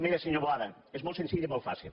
mire senyor boada és molt senzill i molt fàcil